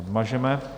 Odmažeme.